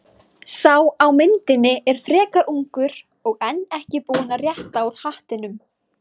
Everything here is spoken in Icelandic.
Sá á myndinni er frekar ungur og enn ekki búinn að rétta úr hattinum.